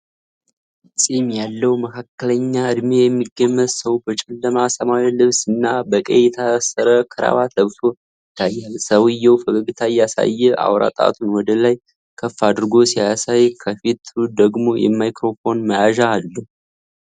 ፂም ያለው መካከለኛ እድሜ የሚገመት ሰው በጨለማ ሰማያዊ ልብስ እና በቀይ የታሰረ ክራባት ለብሶ ይታያል። ሰውየው ፈገግታ እያሳየ አውራ ጣቱን ወደ ላይ ከፍ አድርጎ ሲያሳይ፣ ከፊቱ ደግሞ የማይክሮፎን መያዣ አለ።